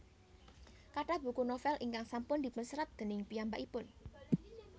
Kathah buku novel ingkang sampun dipunserat déning piyambakipun